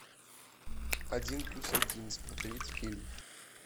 один плюс один смотреть фильм